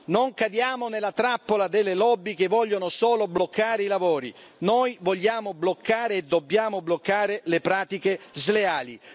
Non cadiamo nella trappola delle lobby che vogliono solo bloccare i lavori. Noi vogliamo bloccare e dobbiamo bloccare le pratiche sleali.